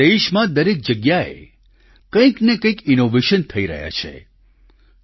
આજે દેશમાં દરેક જગ્યાએ કંઈને કંઈક ઈનોવેશન થઈ રહ્યાં છે